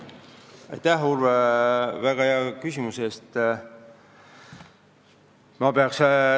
Aitäh, Urve, väga hea küsimuse eest!